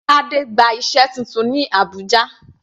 Tade gba iṣẹ́ titun ní Abùjá.